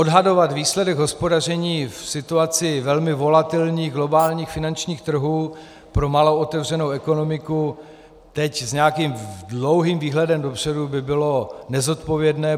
Odhadovat výsledek hospodaření v situaci velmi volatilních globálních finančních trhů pro malou otevřenou ekonomiku teď s nějakým dlouhým výhledem dopředu by bylo nezodpovědné.